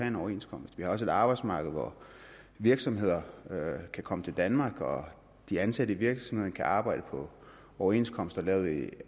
en overenskomst vi har også et arbejdsmarked hvor virksomheder kan komme til danmark og de ansatte i virksomheden kan arbejde på overenskomster lavet i